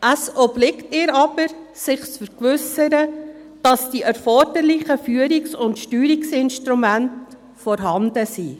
Es obliegt ihr aber, sich zu vergewissern, dass die erforderlichen Führungs- und Steuerungsinstrumente vorhanden sind.